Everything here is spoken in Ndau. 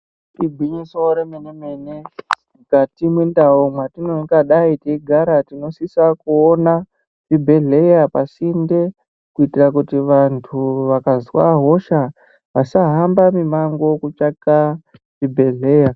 Igwinyiso re mene mene mukati mwe ndau mwatino ngadai tei gara tino sisa kuona chibhedhleya pasinde ku itira kuti vantu vakazwa hosha vasa hamba mi mango kutsvaka chi bhedhleya.